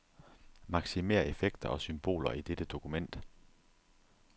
Maksimér effekter og symboler i dette dokument.